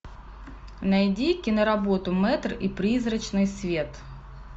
найди киноработу мэтр и призрачный свет